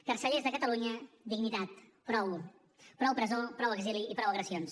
carcellers de catalunya dignitat prou prou presó prou exili i prou agressions